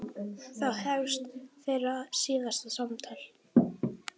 Þá hefst þeirra síðasta samtal.